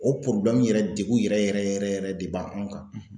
O yɛrɛ degun yɛrɛ yɛrɛ yɛrɛ yɛrɛ de ba anw kan.